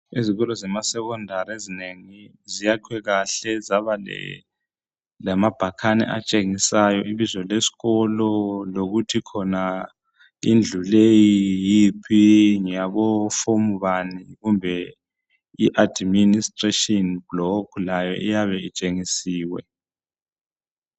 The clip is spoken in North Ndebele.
Izikolo zema secondary ezinengi ziyakhwe kahle zaba lamabhakane atshengisayo ibizo lesikolo lokuthi khona indlu leyi yiphi ngeyabo form bani kumbe iadministration block layo iyabe itshengisiwe.